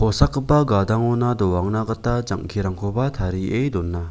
gadangona doangna gita jang·kirangkoba tarie dona.